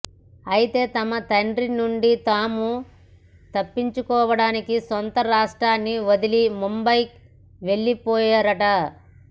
అయితే తమ తండ్రి నుండి తాము తప్పించుకోవడానికి సొంత రాష్ట్రాన్ని వదిలి ముంబై వెళ్లిపోయారట